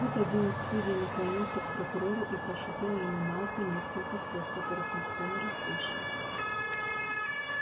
тут один из судей наклонился к прокурору и прошипел ему на ухо несколько слов которых никто не расслышал